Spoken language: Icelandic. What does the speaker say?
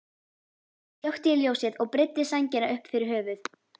Svo slökkti ég ljósið og breiddi sængina upp fyrir höfuð.